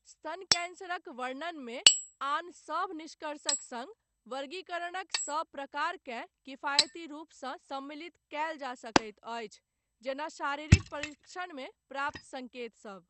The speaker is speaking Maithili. स्तन कैंसरक वर्णनमे आन सभ निष्कर्षक सङ्ग वर्गीकरणक सभ प्रकारकेँ किफायती रूपसँ सम्मिलित कयल जा सकैत अछि, जेना शारीरिक परीक्षणमे प्राप्त सङ्केत सभ।